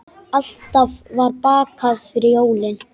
Alltaf var bakað fyrir jólin.